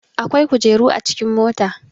akwai kujeru a cikin mota